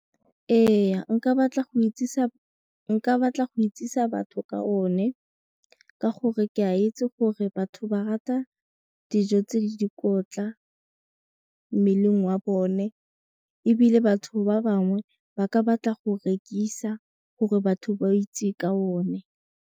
Ee nka batla go itsise batho ka one ka gore ke a itse gore batho ba rata dijo tse di dikotla mmeleng wa bone ebile batho ba bangwe ba ka batla go rekisa gore batho ba itse ka one.